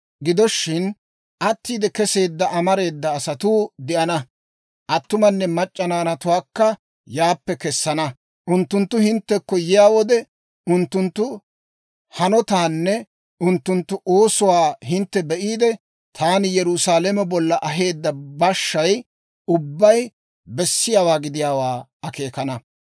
Gido shin attiide keseedda amareeda asatuu de'ana; attumanne mac'c'a naanatuwaakka yaappe kesana. Unttunttu hinttekko yiyaa wode, unttunttu hanotaanne unttunttu oosuwaa hintte be'iide, taani Yerusaalame bolla aheedda bashshay ubbay bessiyaawaa gidiyaawaa akeekana.